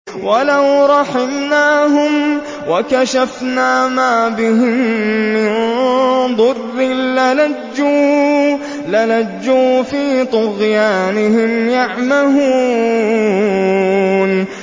۞ وَلَوْ رَحِمْنَاهُمْ وَكَشَفْنَا مَا بِهِم مِّن ضُرٍّ لَّلَجُّوا فِي طُغْيَانِهِمْ يَعْمَهُونَ